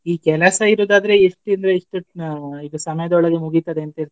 ಈ ಕೆಲಸ ಇರೋದಾದರೆ ಇಷ್ಟ್ ಇಂದ ಇಷ್ಟು ಆ ಇದು ಸಮಯದೊಳಗೆ ಮುಗಿತದೇ ಅಂತ ಇರ್ತದೆ.